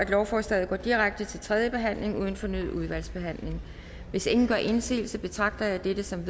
at lovforslaget går direkte til tredje behandling uden fornyet udvalgsbehandling hvis ingen gør indsigelse betragter jeg dette som